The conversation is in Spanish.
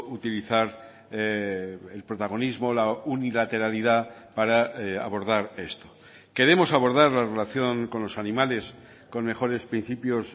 utilizar el protagonismo la unilateralidad para abordar esto queremos abordar la relación con los animales con mejores principios